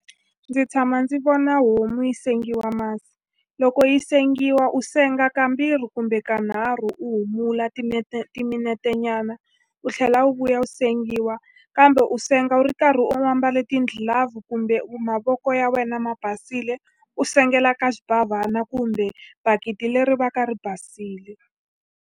Ndzi tshama ndzi vona homu yi sengiwa masi. Loko yi sengiwa, u senga kambirhi kumbe kanharhu. U humula timinetenyana, u tlhela u vuya u sengiwa, kambe u senga u ri karhi u ambale ti-glove kumbe mavoko ya wena ma basile. U sengela eka xibavhana kumbe bakiti leri va ka ri basile.